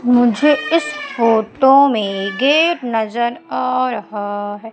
मुझे इस फोटो में गेट नजर आ रहा है।